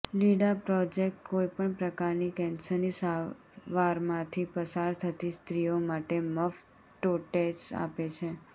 લિડા project કોઈપણ પ્રકારની કેન્સરની સારવારમાંથી પસાર થતી સ્ત્રીઓ માટે મફત ટોટેસ આપે છે